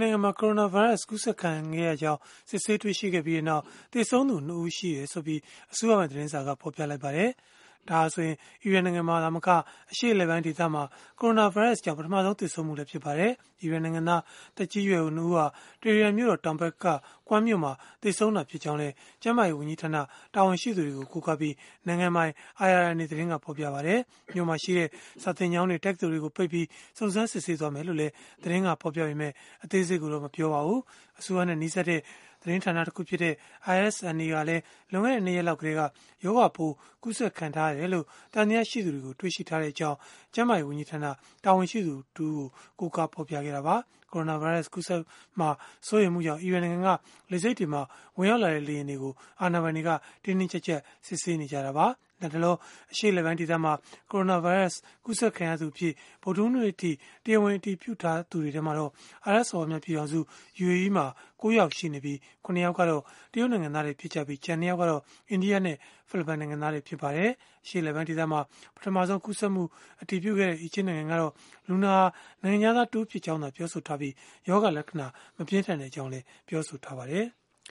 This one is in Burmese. နိုင်ငံမှာ ကိုရိုနာဗိုင်းရပ်စ် ကူးစက်ခံနေရကြောင်း စစ်ဆေးတွေ့ရှိခဲ့ပြီးနောက် သေဆုံးသူ ၂ ဦးရှိကြောင်း အစိုးရပိုင် သတင်းစာက ဖော်ပြလိုက်ပါတယ်။ ဒါဟာဆိုရင် အီရန်နိုင်ငံမှာ သာမက အရှေ့အလယ်ပိုင်းဒေသမှာ ကိုရိုနာဗိုင်းရပ်စ်ကြောင့် ပထမဆုံး သေဆုံးမှုလည်း ဖြစ်ပါတယ်။ အီရန်နိုင်ငံသား သက်ကြီးရွယ်အို ၂ ဦးဟာ တီဟီရန်မြို့တော် တောင်ဘက်က Qom မြို့မှာ သေဆုံးခဲ့တာ ဖြစ်ကြောင်းလည်း ကျန်းမာရေး ဝန်ကြီးဌာန တာဝန်ရှိသူတွေကို ကိုးကားပြီး နိုင်ငံပိုင် IRNA သတင်းက ဖော်ပြခဲ့ပါတယ်။ မြို့မှာရှိတဲ့ စာသင်ကျောင်းတွေ၊ တက္ကသိုလ်တွေကို ပိတ်ပြီး စုံစမ်းစစ်ဆေးသွားမှာ ဖြစ်ကြောင်းလည်း သတင်းက ဖော်ပြပေမယ့် အသေးစိတ်ကိုတော့ မပြောပါဘူး။ အစိုးရနဲ့ နီးစပ်တဲ့ သတင်းဌာန တခုဖြစ်တဲ့ ISNA ကလည်း လွန်ခဲ့တဲ့ ၂ ရက်လောက်ကတည်းက ရောဂါပိုးကူးစက်ခံထားရတယ်လို့ သံသယ ရှိသူတွေကို တွေ့ရှိထားကြောင်း ကျန်းမာရေးဝန်ကြီးဌာန တာဝန်ရှိသူတဦးကို ကိုးကားဖော်ပြခဲ့တာပါ။ ကိုရိုနာဗိုင်းရပ်စ် ကူးစက်မှာ စိုးရိမ်မှုကြောင့် အီရန်နိုင်ငံက လေဆိပ်တွေမှာ ဝင်ရောက်လာတဲ့ လေယာဉ်တွေကို အာဏာပိုင်တွေက တင်းတင်းကျပ်ကျပ် စစ်ဆေးနေကြတာပါ။ လတ်တလော အရှေ့အလယ်ပိုင်းဒေသမှာ ကိုရိုနာဗိုင်းရပ်စ် ကူးစက်ခံရသူအဖြစ် ဗုဒ္ဓဟူးနေ့အထိ တရားဝင် အတည်ပြုထားသူတွေ ထဲမှာတော့ အာရပ်စော်ဘွားများပြည်ထောင်စု (UAE) မှာ ၉ ယောက် ရှိနေပြီး၊ ၇ ယောက်ကတော့ တရုတ်နိုင်ငံသားတွေ ဖြစ်ကြပြီး၊ ကျန် ၂ ယောက်ကတော့ အိန္ဒိယနဲ့ ဖိလစ်ပိုင်နိုင်ငံသားတွေ ဖြစ်ကြပါတယ်။ အရှေ့အလယ်ပိုင်းဒေသမှာ ပထမဆုံး ကူးစက်မှုကို အတည်ပြုခဲ့တဲ့ အီဂျစ်နိုင်ငံကတော့ လူနာဟာ နိုင်ငံခြားသားတဦးဖြစ်ကြောင်းသာ ပြောဆိုထားပြီး၊ ရောဂါလက္ခဏာ မပြင်းထန်ကြောင်း ပြောဆိုထားပါတယ်။